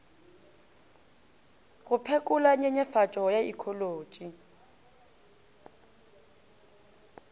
go phekola nyenyefatšo ya ikholotši